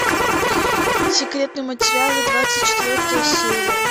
секретные материалы двадцать четвертая серия